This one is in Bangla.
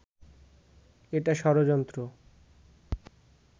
এটা ষড়যন্ত্র